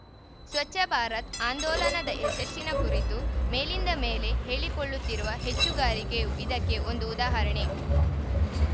ಸ್ವಚ್ಛ ಭಾರತ್ ಆಂದೋಲನದ ಯಶಸ್ಸಿನ ಕುರಿತು ಮೇಲಿಂದ ಮೇಲೆ ಹೇಳಿಕೊಳ್ಳುತ್ತಿರುವ ಹೆಚ್ಚುಗಾರಿಕೆಯು ಇದಕ್ಕೆ ಒಂದು ಉದಾಹರಣೆ